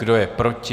Kdo je proti?